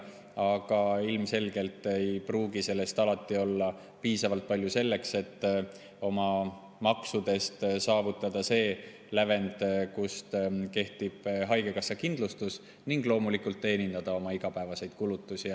Aga ilmselgelt ei pruugi sellest alati piisata selleks, et oma maksudega saavutada see lävend, kus kehtib haigekassakindlustus, ning loomulikult teenindada oma igapäevaseid kulutusi.